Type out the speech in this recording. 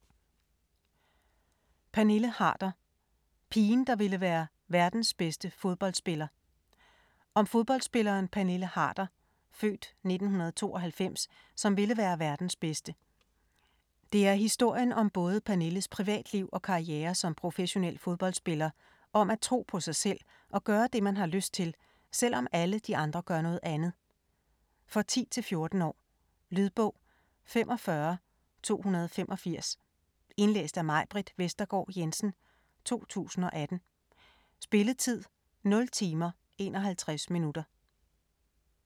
Pernille Harder: pigen, der ville være verdens bedste fodboldspiller Om fodboldspilleren Pernille Harder (f. 1992), som vil være verdens bedste. Det er historien om både Pernilles privatliv og karriere som professionel fodboldspiller, om at tro på sig selv og gøre det, man har lyst til, selvom alle de andre gør noget andet. For 10-14 år. Lydbog 45285 Indlæst af Majbritt Vestergaard Jensen, 2018. Spilletid: 0 timer, 51 minutter.